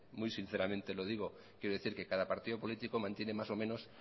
muy sinceramente lo digo quiero decir que cada partido político mantiene más o menos